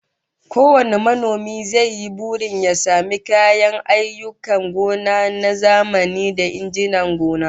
Kowane manomi zai yi burin ya samu kayan ayyukan gona na zamani da injinan gona